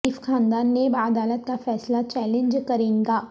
شریف خاندان نیب عدالت کا فیصلہ چیلنج کرے گا